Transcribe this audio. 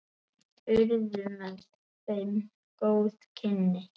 Urðu með þeim góð kynni.